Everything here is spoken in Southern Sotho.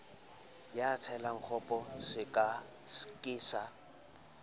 ya tselakgopo sekere ke sa